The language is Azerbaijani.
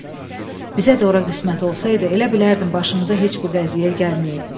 Bizə də ora qismət olsaydı, elə bilərdim başımıza heç bu qəziyyəyə gəlməyib.